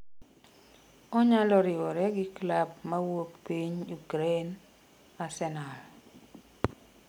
onyalo riwoge gi klab mawuok piny ukraine ,arsenal